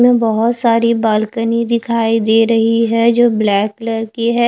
में बोहोत सारी बालकनी दिखाई दे रही है जो ब्लैक कलर की है।